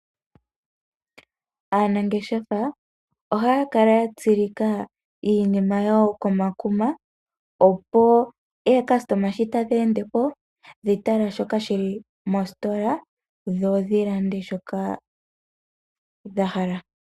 Aanangeshefa ohaakala yatsilika iinima yawo komakuma opo aalandi ngele tadheendepo dhitala iinima ndjoka yili mositola dho dhilande shoka dhahala.